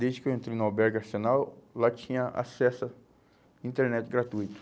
Desde que eu entrei no albergue arsenal, lá tinha acesso à internet gratuito.